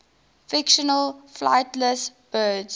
fictional flightless birds